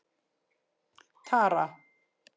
Tara